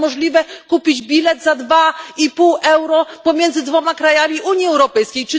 Jak to możliwe, by kupić bilet za dwa i pół euro na połączenie między dwoma krajami Unii Europejskiej?